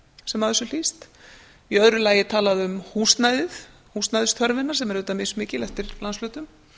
sem af þessu hlýst í öðru lagi er talað um húsnæðið húsnæðisþörfina sem er auðvitað mjög mikil eftir landshlutum